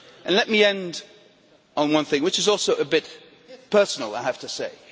Let me end on one thing which is also a bit personal, I have to say.